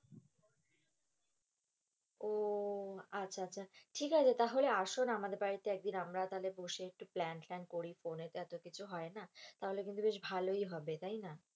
ও আচ্ছা আচ্ছা, ঠিক আছে তাহলে আসো না আমাদের বাড়ি তে একদিন আমরা তাহলে বসে একটু প্ল্যান-টলান করি, ফোনে তো এতো কিছু হয় না, তাহলে কিন্তু বেশ ভালোই হবে তাই না,